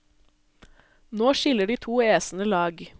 Nå skiller de to æsene lag.